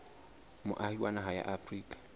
moahi wa naha ya afrika